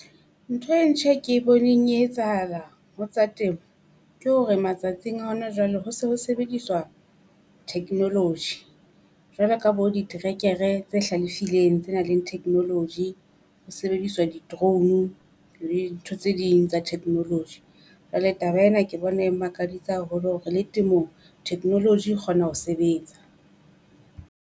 Ntho e ntjha e ke boneng e etsahala ho tsa temo ke hore matsatsing a hona jwale ho se ho sebediswa technology. Jwalo ka bo diterekere tse hlalefileng tse nang le technology, ho sebediswa di drone le dintho tse ding tsa technology. jwale taba ena ke bona e mmakaditse haholo hore le temong technology e kgona ho sebetsa.